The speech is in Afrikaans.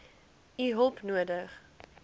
u hulp nodig